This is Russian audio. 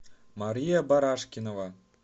мария барашкинова